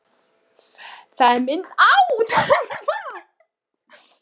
Það er mynd af henni þarna.